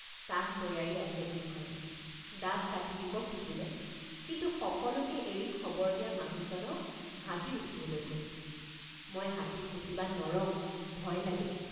চাহ তৈয়াৰী আছে বুলি কলে ডাব কাটি দিব খুজিলে কিন্তু সকলোকে এৰি খবৰ দিয়া মানুহজনক হাতীত উঠিবলৈ কলোঁমই হাতীত উঠিবা নৰং ভয় লাগে!